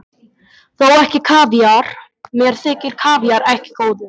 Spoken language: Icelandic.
Þó ekki kavíar, mér þykir kavíar ekki góður.